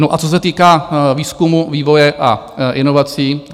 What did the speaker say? No, a co se týká výzkumu, vývoje a inovací...